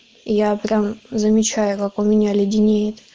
я прям замечаю как у меня леденеет